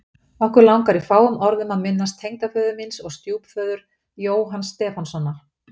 Okkur langar í fáum orðum að minnast tengdaföður míns og stjúpföður, Jóhanns Stefánssonar.